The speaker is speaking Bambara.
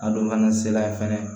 A don fana sela fɛnɛ